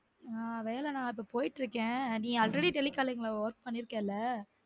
ஆஹ் நான் வேல இப்போ போய்டுருக்கேன் already telecalling ல work பண்ணிருக்கல?